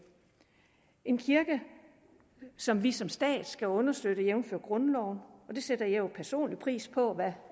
en kirke som vi som stat skal understøtte jævnfør grundloven og det sætter jeg jo personligt pris på hvad